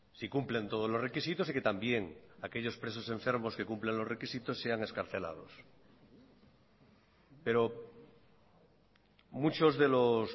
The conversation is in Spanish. si cumplen todos los requisitos y que también aquellos presos enfermos que cumplen los requisitos sean excarcelados pero muchos de los